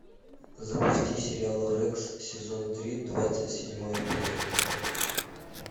запусти сериал рекс сезон три двадцать седьмой эпизод